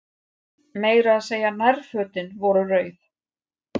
Meira að segja nærfötin voru rauð.